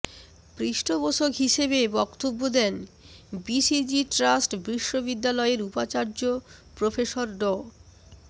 পৃষ্ঠপোষক হিসেবে বক্তব্য দেন বিজিসি ট্রাস্ট বিশ্ববিদ্যালয়ের উপাচার্য প্রফেসর ড